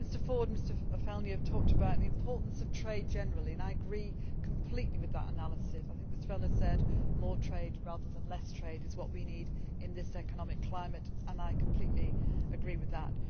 do. Mr Ford and Mr Fjellner talked about the importance of trade generally and I agree completely with that analysis. I think Mr Fjellner said that more trade rather than less trade is what we need in this economic climate, and I completely agree with